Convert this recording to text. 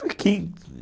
Falei, quem?